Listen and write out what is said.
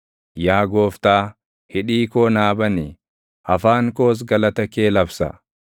Yaa Gooftaa, hidhii koo naa bani; afaan koos galata kee labsa.